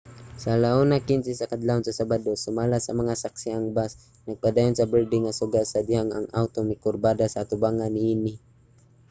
sa 1:15 sa kadlawon sa sabado sumala sa mga saksi ang bus nagpadayon sa berde nga suga sa dihang ang awto mikurbada sa atubangan niini